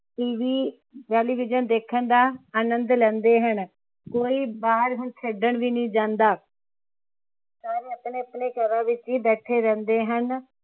TV television ਦੇਖਣ ਦਾ ਆਨੰਦ ਲੈਂਦੇ ਹਨ ਕੋਈ ਹੁਣ ਬਾਹਰ ਛੱਡਣ ਵੀ ਨਹੀਂ ਜਾਂਦਾ ਸਾਰੇ ਆਪਣੇ ਆਪਣੇ ਘਰਾਂ ਵਿਚ ਹੀ ਬੈਠੇ ਰਹਿੰਦੇ ਹਨ